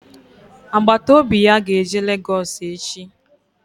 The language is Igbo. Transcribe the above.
Agbataobi ya ga-eje Lagos echi